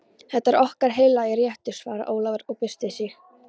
Þetta er okkar heilagi réttur, svaraði Ólafur og byrsti sig.